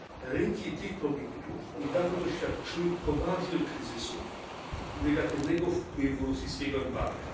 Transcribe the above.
Rynki tych produktów niedawno doświadczyły poważnych kryzysów i negatywnego wpływu rosyjskiego embarga.